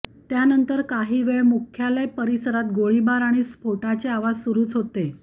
त्यानंतर काही वेळ मुख्यालय परिसरात गोळीबार आणि स्फोटाचे आवाज सुरुच होते